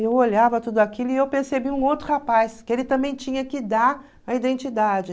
Eu olhava tudo aquilo e eu percebi um outro rapaz, que ele também tinha que dar a identidade.